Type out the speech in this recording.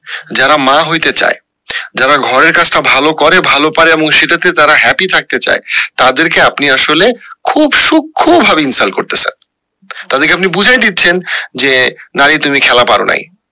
যারা মা হইতে চায় যারা ঘরের কাজটা ভালো করে ভালো পারে এবং সেটা তে তারা happy থাকতে চায় তাদের কে আপনি আসলে খুব সূক্ষ ভাবে insult করতেসেন তবে কি আপনি বুঝাই দিচ্ছেন যে নারী তুমি খেলা পারো নাই